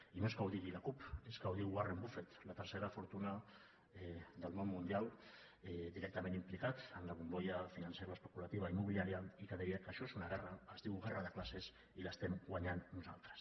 i no és que ho digui la cup és que ho diu warren buffet la tercera fortuna del món mundial directament implicat en la bombolla financeroespeculativa immobiliària i que deia que això és una guerra es diu guerra de classes i l’estem guanyant nosaltres